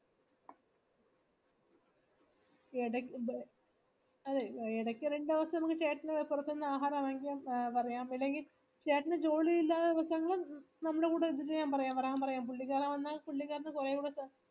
എഡക്ക് അതെ എടക്ക് രണ്ടുദിവസം നമക്ക് ചേട്ടന് പുറത്ത് നിന്ന് ആഹാരം വാങ്ങിക്കാൻ പറയാം ഇല്ലെങ്ങി ചേട്ടന് ജോലിയില്ലതെ ദിവസങ്ങളിൽ നമ്മടെ കൂടെ ഇത്ചെയ്യാൻപറയാ വരാൻ പറയാം പുള്ളിക്കാരൻ വന്ന പുള്ളിക്കാരന് കുറെ കൂടെ സ